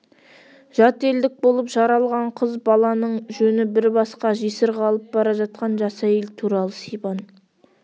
жат елдік болып жаралған қыз баланың жөні бір басқа жесір қалып бара жатқан жас әйел туралы сибан